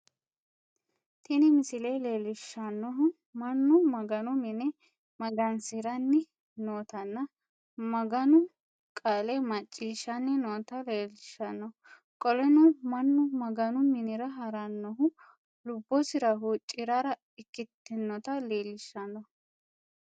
Tini misile leelishanohu Manu maganu mine magansiranni nootanna maganu qaale maciishanninoota leelishano qoleno Manu maganu Minira haranohu lubosira huucirara ikinota leelishano.